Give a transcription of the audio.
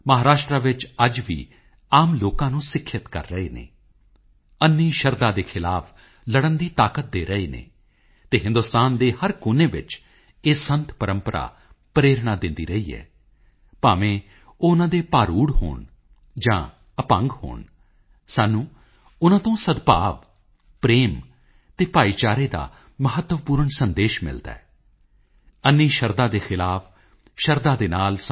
ਮੇਰੇ ਪਿਆਰੇ ਦੇਸ਼ਵਾਸੀਓ ਕਿਰਣ ਸਿਦਰ ਨੇ ਮਾਈਗੋਵ ਤੇ ਲਿਖਿਆ ਹੈ ਕਿ ਮੈਂ ਭਾਰਤ ਦੇ ਪੁਲਾੜ ਪ੍ਰੋਗਰਾਮ ਅਤੇ ਉਸ ਦੇ ਭਵਿੱਖ ਨਾਲ ਜੁੜੇ ਪਹਿਲੂਆਂ ਤੇ ਚਾਨਣਾ ਪਾਵਾਂ ਉਹ ਮੇਰੇ ਤੋਂ ਇਹ ਵੀ ਚਾਹੁੰਦੇ ਹਨ ਕਿ ਮੈਂ ਵਿਦਿਆਰਥੀਆਂ ਨਾਲ ਪੁਲਾੜ ਪ੍ਰੋਗਰਾਮਾਂ ਵਿੱਚ ਰੁਚੀ ਲੈਣ ਅਤੇ ਕੁਝ ਅਲੱਗ ਹਟ ਕੇ ਅਸਮਾਨ ਤੋਂ ਵੀ ਅੱਗੇ ਜਾ ਕੇ ਸੋਚਣ ਦੀ ਬੇਨਤੀ ਕਰਾਂ ਕਿਰਣ ਜੀ ਮੈਂ ਤੁਹਾਡੇ ਇਸ ਵਿਚਾਰ ਅਤੇ ਵਿਸ਼ੇਸ਼ ਰੂਪ ਵਿੱਚ ਸਾਡੇ ਬੱਚਿਆਂ ਲਈ ਦਿੱਤੇ ਗਏ ਸੰਦੇਸ਼ ਦੀ ਪ੍ਰਸ਼ੰਸਾ ਕਰਦਾ ਹਾਂ